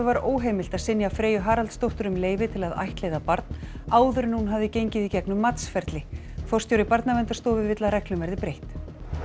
var óheimilt að synja Freyju Haraldsdóttur um leyfi til að ættleiða barn áður en hún hafði gengið í gegnum matsferli forstjóri Barnaverndarstofu vill að reglum verði breytt